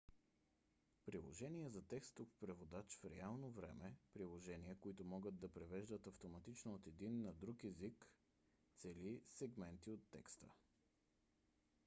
приложения за текстов преводач в реално време – приложения които могат да превеждат автоматично от един език на друг цели сегменти от текст